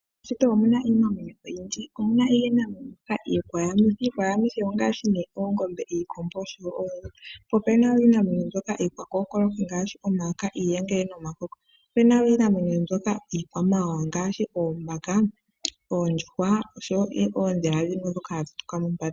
Meshito omu na iinamwenyo oyindji. Omu na iinamwenyo mbyoka Iikwayamithi. Iikwayamithi ongaashi ne oongombe, iikombo osho wo oonzi. Po ope ba wo iinamwenyo mbyoka iikwakookoloki. Iikwakookoloki ongaashi omayoka, iiyengele nomakoko. Ope na wo iinamwenyo yimwe mbyoka iikwamawawa ngaashi oombaka, oondjuhwa osho wo oondhila dhimwe ndhoka hadhi tuka mombanda.